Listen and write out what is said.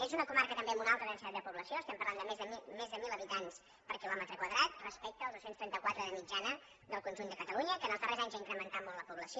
és una comarca també amb una alta densitat de població estem parlant de més de mil habitants per quilòmetre quadrat respecte als dos cents i trenta quatre de mitjana del conjunt de catalunya que els darrers anys ha incrementat molt la població